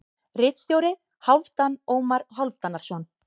Ritstjóri: Hálfdan Ómar Hálfdanarson.